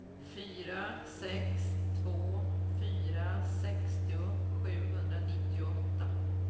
fyra sex två fyra sextio sjuhundranittioåtta